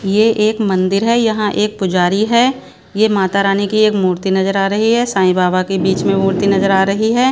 ये एक मंदिर है यहां एक पुजारी है ये माता रानी की एक मूर्ति नजर आ रही है साईं बाबा के बीच में मूर्ति नजर आ रही है।